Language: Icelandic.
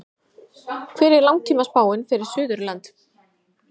hver er langtímaspáin fyrir suðurland